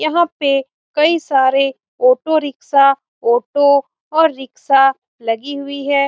यहां पर कई सारे ऑटो रिक्शा ऑटो और रिक्शा लगी हुई है।